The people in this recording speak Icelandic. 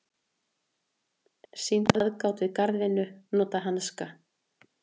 Sýna aðgát við garðvinnu, nota hanska.